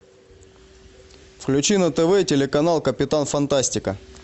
включи на тв телеканал капитан фантастика